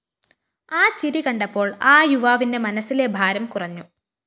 ആ ചിരി കണ്ടപ്പോള്‍ ആ യുവാവിന്റെ മനസ്സില ഭാരം കുറഞ്ഞു